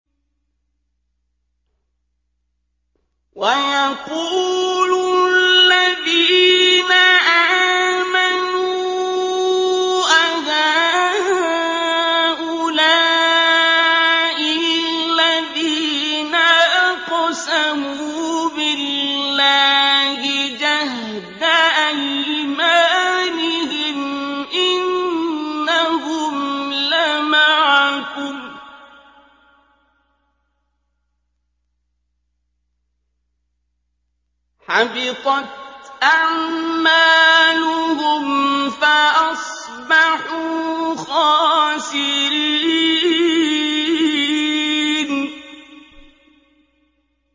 وَيَقُولُ الَّذِينَ آمَنُوا أَهَٰؤُلَاءِ الَّذِينَ أَقْسَمُوا بِاللَّهِ جَهْدَ أَيْمَانِهِمْ ۙ إِنَّهُمْ لَمَعَكُمْ ۚ حَبِطَتْ أَعْمَالُهُمْ فَأَصْبَحُوا خَاسِرِينَ